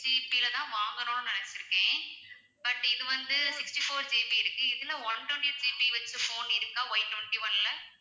GB ல தான் வாங்கணும்னு நினைச்சிருக்கேன் but இது வந்து sixty-four GB இருக்கு இதுல one twenty-eight GB வெச்ச phone இருக்கா Y twenty-one ல